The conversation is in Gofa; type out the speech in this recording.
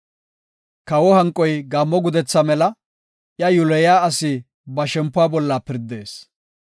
Kawo hanqoy gaammo gudetha mela; iya yiloyiya asi ba shempuwa bolla pirdees.